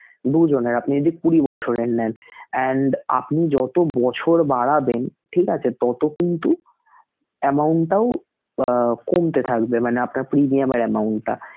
দু জন আর আপনি যদি কুঁড়ি বছরের নেন and আপনি যত বছর বাড়াবেন, ঠিক আছে! তত কিন্তু amount টাও আহ কমতে থাকবে মানে আপনার premium এর amount টা.